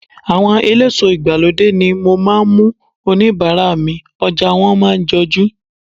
Àwọn eléso ìgbàlódé ni mo máa ń mú oníbàárà mi, ọjà wọn máa ń jojú.